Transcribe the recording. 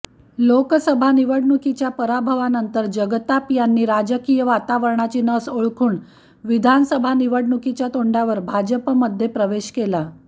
लोकसभा निवडणुकीच्या पराभवानंतर जगताप यांनी राजकीय वातावरणाची नस ओळखून विधानसभा निवडणुकीच्या तोंडावर भाजपमध्ये प्रवेश केला